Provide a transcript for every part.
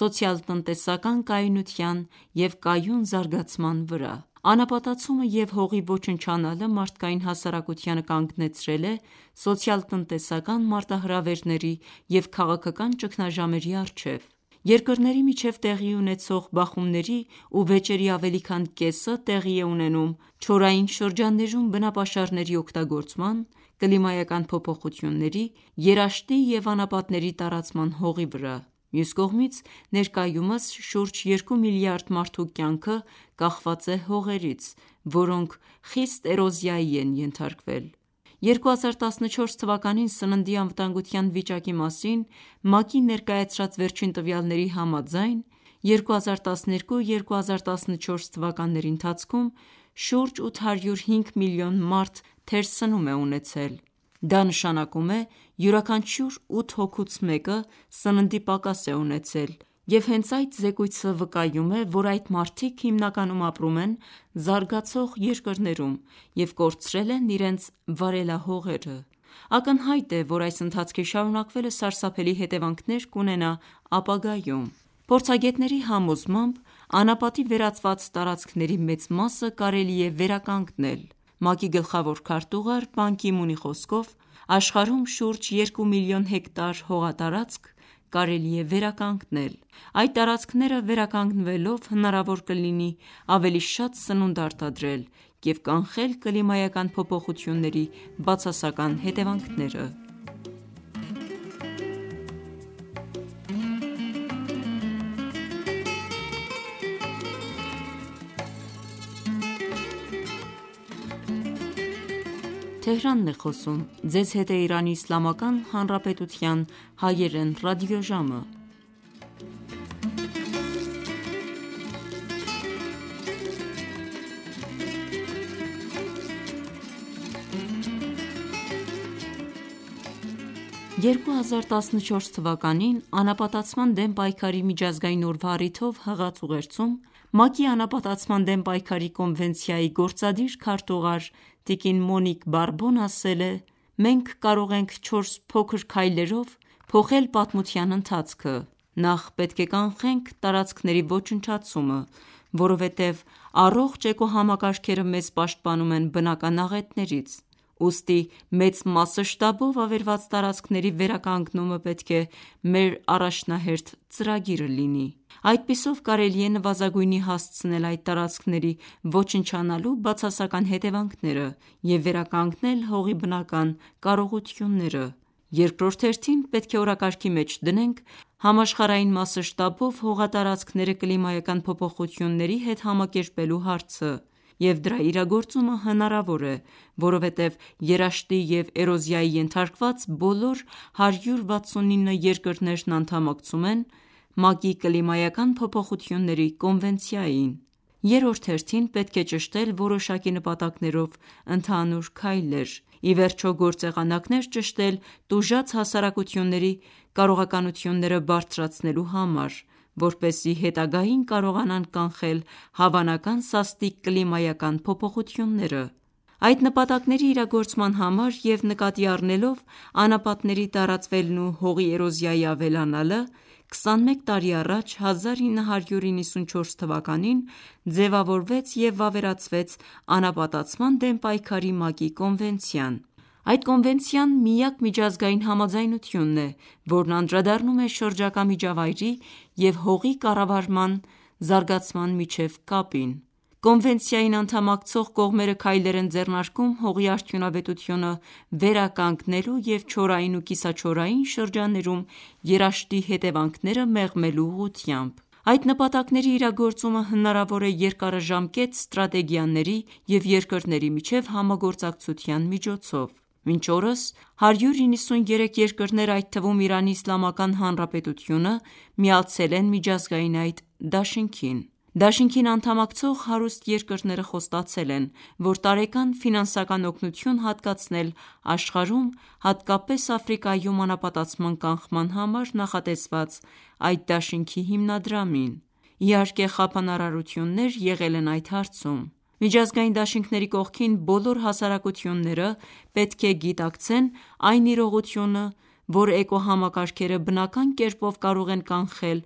սոցիալ-տնտեսական կայունության և կայուն զարգացման վրա: Անապատացումը և հողի ոչնչանալը մարդկային հասարակությանը կանգնեցրել է սոցիալ-տնտեսական մարտահրավերների և քաղաքական ճգնաժամերի առջև: Երկրների միջև տեղի ունեցող բախումների ու վեճերի ավելի քան կեսը տեղի է ունենում չորային շրջաններում բնապաշարների օգտագործման, կլիմայական փոփոխությունների, երաշտի և անապատների տարածման հողի վրա: Մյուս կողմից, ներկայումս շուրջ երկու միլիարդ մարդու կյանքը կախված է հողերից, որոնք խիստ էրոզիայի են ենթարկվել: 2014 թվականին սննդի անվտանգության վիճակի մասին ՄԱԿ-ի ներկայացրած վերջին տվյալների համաձայն, 2012-2014 թվականների ընթացքում շուրջ 805 միլիոն մարդ թերսնում է ունեցել: Դա նշանակում է յուրաքանչյուր 8 հոգուց մեկը սննդի պակաս է ունեցել և հենց այդ զեկույցը վկայում է, որ այդ մարդիկ հիմնականում ապրում են զարգացող երկրներում և կորցրել են իրենց վարելահողերը: Ակնհայտ է, որ այս ընթացքի շարունակվելը սարսափելի հետևանքներ կունենա ապագայում: Փորձագետների համոզմամբ, անապատի վերածված տարածքների մեծ մասը կարելի է վերականգնել: ՄԱԿ-ի գլխավոր քարտուղար՝ Պան Գի Մունի խոսքով, աշխարհում շուրջ 2 միլիոն հեկտար հողատարածք կարելի է վերականգնել: Այդ տարածքները վերականգնվելով, հնարավոր կլինի ավելի շատ սնունդ արտադրել և կանխել կլիմայական փոփոխությունների բացասական հետևանքները: 2014 թվականին, անապատացման դեմ պայքարի միջազգային օրվա առիթով հղած ուղերձում, ՄԱԿ-ի անապատացման դեմ պայքարի կոնվենցիայի գործադիր քարտուղար՝ տկն. Մոնիկ Բարբոն ասել է.«Մենք կարող ենք չորս փոքր քայլերով փոխել պատմության ընթացքը: Նախ պետք է կանխենք տարածքների ոչնչացումը, որովհետև առողջ էկոհամակարգերը մեզ պաշտպանում են բնական աղետներից: Ուստի մեծ մասշտաբով ավերված տարածքների վերականգնումը պետք է մեր առաջնահերթ ծրագիրը լինի: Այդպիսով կարելի է նվազագույնի հասցնել այդ տարածքների ոչնչանալու բացասական հետևանքները և վերականգնել հողի բնական կարողությունները: Երկրորդ հերթին, պետք է օրակարգի մեջ դնենք համաշխարհային մասշտաբով հողատարածքները կլիմայական փոփոխությունների հետ համակերպելու հարցը և դրա իրագործումը հնարավոր է, որովհետև երաշտի և էրոզիայի ենթարկված բոլոր 169 երկրներն անդամակցում են ՄԱԿ-ի կլիմայական փոփոխությունների կոնվենցիային: Երրորդ հերթին պետք է ճշտել որոշակի նպատակներով ընդհանուր քայլեր: Ի վերջո, գործեղանակներ ճշտել տուժած հասարակությունների կարողականությունները բարձրացնելու համար, որպեսզի հետագային կարողանան կանխել հավանական սաստիկ կլիմայական փոփոխությունները»: Այդ նպատակների իրագործման համար և նկատի առնելով անապատների տարածվելն ու հողի էրոզիայի ավելանալը, 21 տարի առաջ, 1994 թվականին ձևավորվեց և վավերացվեց անապատացման դեմ պայքարի ՄԱԿ-ի կոնվենցիան: Այդ կոնվենցիան միակ միջազգային համաձայնությունն է, որն անդրադառնում է շրջակա միջավայրի և հողի կառավարման զարգացման միջև կապին:Կոնվենցիային անդամակցող կողմերը քայլեր են ձեռնարկում հողի արդյունավետությունը վերականգնելու և չորային ու կիսաչորային շրջաններում երաշտի հետևանքները մեղմելու ուղությամբ: Այդ նպատակների իրագործումը հնարավոր է երկարաժամկետ ստրատեգիաների և երկրների միջև համագործակցության միջոցով: Մինչ օրս 193 երկրներ, այդ թվում Իրանի իսլամական հանրապետությունը միացել են միջազգային այդ դաշինքին: Դաշինքին անդամակցող հարուստ երկրները խոստացել են, որ տարեկան ֆինանսական օգնություն հատկացնել աշխարհում, հատկապես Աֆրիկայում անապատացման կանխման համար նախատեսված այդ դաշինքի հիմնադրամին: Իհարկե խափանարարություններ եղել են այդ հարցում: Միջազգային դաշինքների կողքին, բոլոր հասարակությունները պետք է գիտակցեն այն իրողությունը, որ էկոհամակարգերը բնական կերպով կարող են կանխել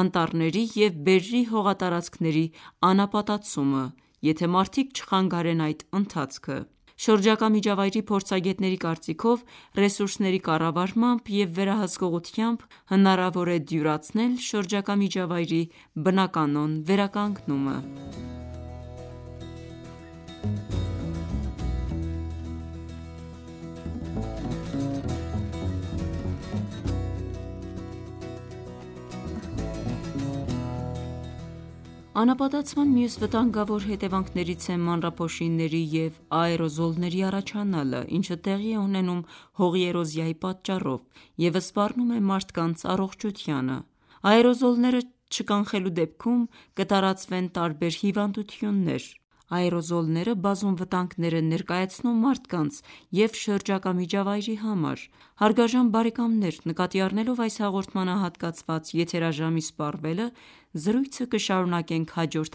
անտառների և բերրի հողատարածքների անապատացումը, եթե մարդիկ չխանգարեն այդ ընթացքը: Շրջակա միջավայրի փորձագետների կարծիքով, ռեսուրսների կառավարմամբ և վերահսկողությամբ հնարավոր է դյուրացնել շրջակա միջավայրի բնականոն վերականգնումը: Անապատցման մյուս վտանգավոր հետևանքներից է մանրափոշիների և աերոզոլների առաջանալը, ինչը տեղի է ունենում հողի էրոզիայի պատճառով և սպառնում է մարդկանց առողջությանը: Աերոզոլները չկանխելու դեպքում, կտարածվեն տարբեր հիվանդություններ: Աերոզոլները բազում վտանգներ են ներկայացնում մարդկանց և շրջակա միջավայրի համար: Հարգարժան բարեկամներ նկատի առնելով այս հաղորդմանը հատկացված եթերաժամի սպառվելը, զրույցը կշարունակենք հաջորդ